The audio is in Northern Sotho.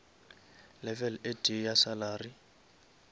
level e tee ya salary